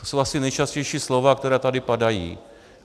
To jsou asi nejčastější slova, která tady padají.